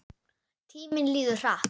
Tíminn líður hratt.